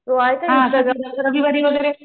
तू आहेस ना घरी